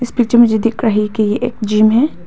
दिख रही के एक जिम है।